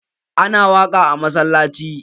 Ana waƙa a masallanci?